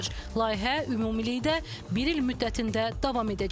Layihə ümumilikdə bir il müddətində davam edəcək.